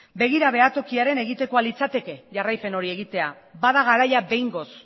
begira behatokiaren egitekoa litzateke jarraipen hori egitea bada garaia behingoz